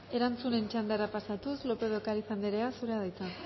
erantzunen txandara pasatuz lópez de ocariz andrea zurea da hitza